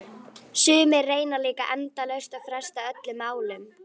Sumir reyna líka endalaust að fresta öllum málum.